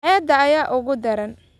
Cayda ayaa ugu daran.